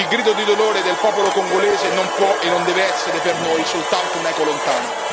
Il grido di dolore del popolo congolese non può e non deve essere per noi soltanto un'eco lontana.